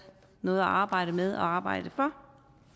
noget at arbejde med og arbejde for